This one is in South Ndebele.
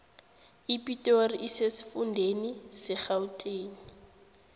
ipitori isesifundeni serhawuteni